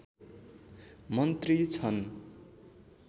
मन्त्री छन्